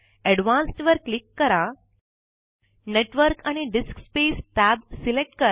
advanced वर click करून network आणि डिस्कस्पेस tab सिलेक्ट करा